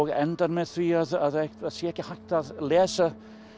endar með því að það verður ekki hægt að lesa